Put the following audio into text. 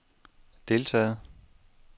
deltaget